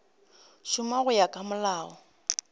šoma go ya ka molao